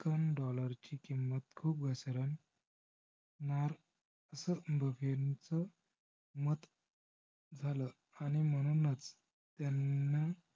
american dollar ची किम्मत खूप घसरेल. मार्स बफे यांच मत झालं आणि म्हणूनच त्यांन